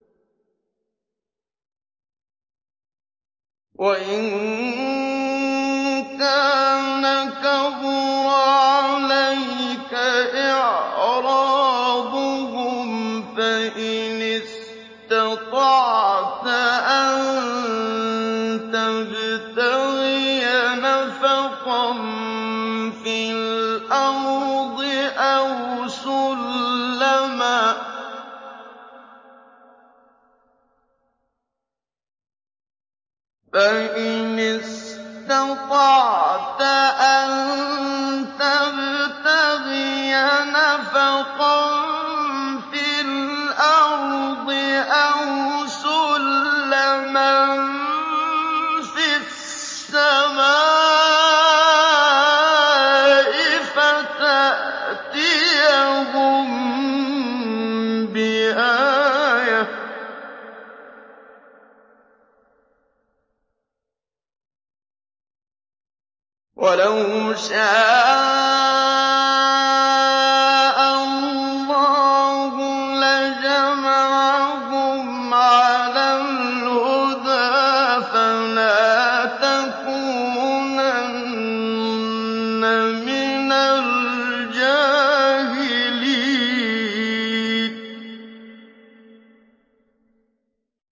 وَإِن كَانَ كَبُرَ عَلَيْكَ إِعْرَاضُهُمْ فَإِنِ اسْتَطَعْتَ أَن تَبْتَغِيَ نَفَقًا فِي الْأَرْضِ أَوْ سُلَّمًا فِي السَّمَاءِ فَتَأْتِيَهُم بِآيَةٍ ۚ وَلَوْ شَاءَ اللَّهُ لَجَمَعَهُمْ عَلَى الْهُدَىٰ ۚ فَلَا تَكُونَنَّ مِنَ الْجَاهِلِينَ